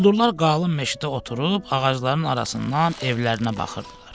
Quldurlar qalın meşədə oturub ağacların arasından evlərinə baxırdılar.